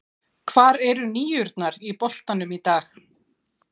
Hvar eru níurnar í boltanum í dag?